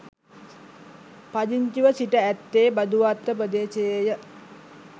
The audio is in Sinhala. පදිංචිව සිට ඇත්තේ බදුවත්ත ප්‍රදේශයේය.